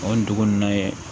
O ye dugu in na ye